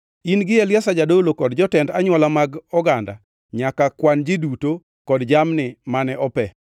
“In gi Eliazar jadolo kod jotend anywola mag oganda nyaka kwan ji duto kod jamni mane ope.